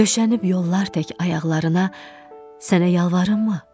Döşənib yollar tək ayaqlarına sənə yalvarımmı?